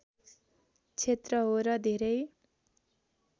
क्षेत्र हो र धेरै